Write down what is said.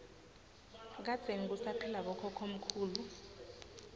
kadzeni kusaphila bokhokho mkhulu